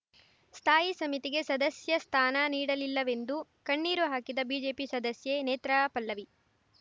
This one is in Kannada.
ಸ್ಥಾಯಿ ಸಮಿತಿಗೆ ಸದಸ್ಯಸ್ಥಾನ ನೀಡಲಿಲ್ಲವೆಂದು ಕಣ್ಣೀರು ಹಾಕಿದ ಬಿಜೆಪಿ ಸದಸ್ಯೆ ನೇತ್ರಾಪಲ್ಲವಿ